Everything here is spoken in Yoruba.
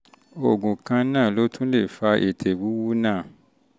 oògùn kan náà ló tún lè fa ètè wíwú náà